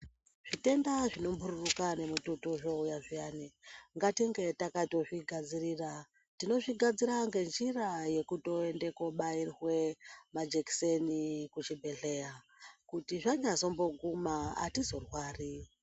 Zvitenda zvinombururuka nemututu zvinouya zviyani, ngatinge takatozvigadzirira. Tinozvigadzirira ngenjira yekutoende kobairwe majekiseni kuchibhedhlera kuti zvanyambozoguma atizorwari.